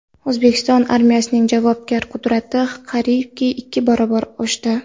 O‘zbekiston armiyasining jangovar qudrati qariyb ikki barobar oshdi.